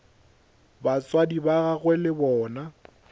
batswadi ba gagwe le bona